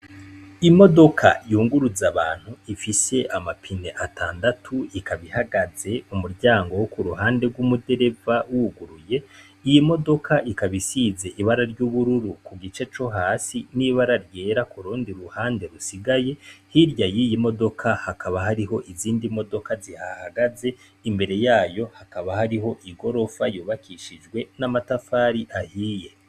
Imodoka yunguruza abantu ifise amapine atandatu ikabihagaze umuryango wo ku ruhande rw'umudereva wuguruye iyoi modoka ikabisize ibara ry'ubururu ku gice co hasi n'ibara ryera ku rundi ruhande rusigaye hirya yi iyi modoka hakaba hariho izindi modoka zia hahagaze imbere yayo hakaba hariho i gorofayobakishijwe n'amatafari ahiye.